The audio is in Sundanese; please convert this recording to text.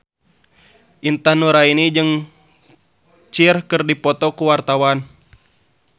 Intan Nuraini jeung Cher keur dipoto ku wartawan